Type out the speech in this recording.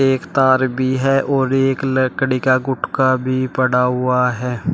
एक तार भी है और एक लकड़ी का गुटका भी पड़ा हुआ है।